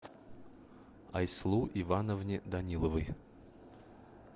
айслу ивановне даниловой